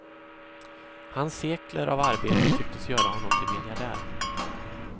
Hans sekler av arbete tycktes göra honom till miljardär.